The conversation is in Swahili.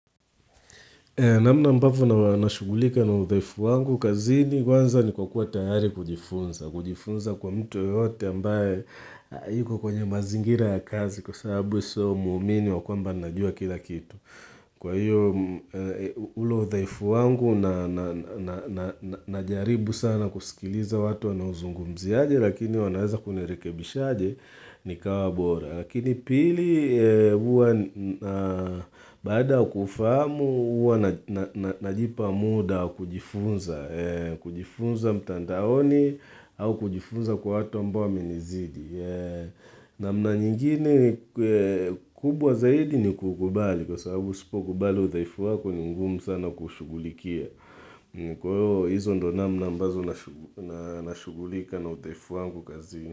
Namna ambavyo na nashugulika na uthaifu wangu kazini kwanza ni kwa kuwa tayari kujifunza. Kujifunza kwa mtu yote ambaye yuko kwenye mazingira ya kazi kwa sababu sio muumini wa kwamba najua kila kitu. Kwa hiyo, ulo uthaifu wangu najaribu sana kusikiliza watu wanauzungumzia aje, lakini wanaweza kunerekebisha aje, nikawa bora. Lakini pili huwa baada kuufahamu huwa najipa muda wakujifunza mtandaoni au kujifunza kwa watu ambao wamenizidi. Namna nyingine kubwa zaidi ni kuukubali kwa sababu usipo kubali udhaifu wako ni ngumu sana kuushugulikia. Kwa hiyo hizo ndio namna ambazo na nashugulika na udhaifu wangu kazini.